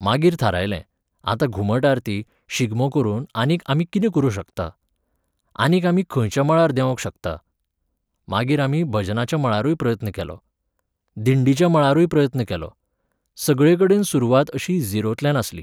मागीर थारायलें, आतां घुमट आरती, शिगमो करून आनीक आमी कितें करूंक शकता? आनीक आमी खंयच्या मळार देंवोंक शकता? मागीर आमी भजनाच्या मळारूय प्रयत्न केलो. दिंडीच्या मळारूय प्रयत्न केलो. सगळेकडेन सुरवात अशी झिरोंतल्यान आसली.